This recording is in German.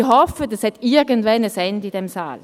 Ich hoffe, das hat irgendwann ein Ende in diesem Saal.